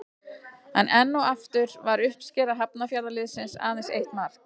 En enn og aftur var uppskera Hafnarfjarðarliðsins aðeins eitt mark.